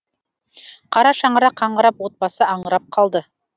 қара шаңырақ қаңырап отбасы аңырап қалды